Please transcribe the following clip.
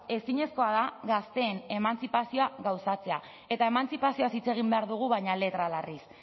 ezinezkoa da gazteen emantzipazioa gauzatzea eta emantzipazioaz hitz egin behar dugu baina letra larriz